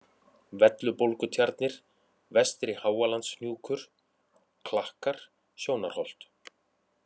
Vellubólgutjarnir, Vestri-Háalandshnúkur, Klakkar, Sjónarholt